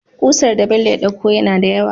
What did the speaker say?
Kusar da Bello ya ɗauko nada yawa